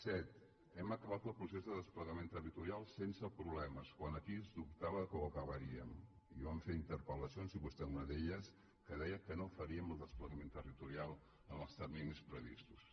set hem acabat el procés de desplegament territorial sense problemes quan aquí es dubtava que ho acabaríem i van fer interpel·lacions i vostè una d’elles que deia que no faríem el desplega·ment territorial en els terminis previstos